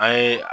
An ye